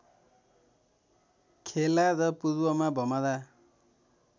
खेला र पूर्वमा भमरा